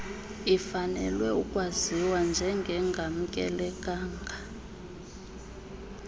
ifanelwe ukwaziwa njengengamkelekanga